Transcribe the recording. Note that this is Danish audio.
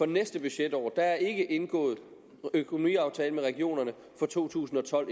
næste budgetår der er endnu ikke indgået en økonomiaftale med regionerne for to tusind og tolv